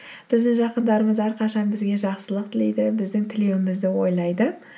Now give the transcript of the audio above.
біздің жақындарымыз әрқашан бізге жақсылық тілейді біздің тілеуімізді ойлайды